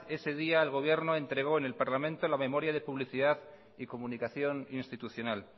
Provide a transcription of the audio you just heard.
ese día el gobierno entregó en el parlamento la memoria de publicidad y comunicación institucional